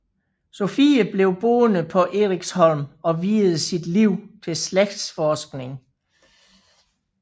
Sophie blev boende på Eriksholm og viede sit liv til slægtsforskning